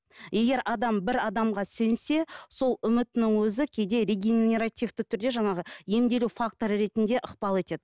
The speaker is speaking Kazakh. егер адам бір адамға сенсе сол үмітінің өзі кейде регенеративті түрде жаңағы емделу факторы ретінде ықпал етеді